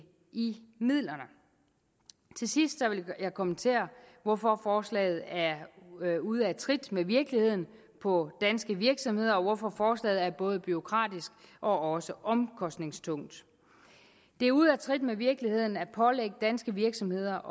midlerne til sidst vil jeg kommentere hvorfor forslaget er ude af trit med virkeligheden på danske virksomheder og hvorfor forslaget er både bureaukratisk og omkostningstungt det er ude af trit med virkeligheden at pålægge danske virksomheder